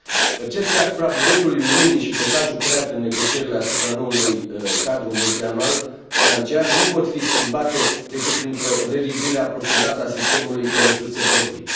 Percepția asupra bugetului Uniunii și blocajul creat în negocierile asupra noului cadru multianual financiar nu pot fi schimbate decât printr o revizuire aprofundată a sistemului de resurse proprii.